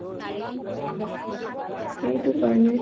সেইটো কাৰণে